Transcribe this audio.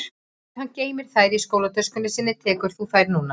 Ef hann geymir þær í skólatöskunni sinni tekur þú þær núna